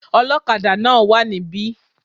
Ọlọ́kadà náà wà níbí